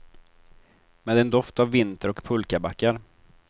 Med en doft av vinter och pulkabackar.